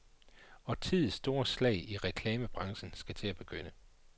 Årtiets store slag i reklamebranchen skal til at begynde.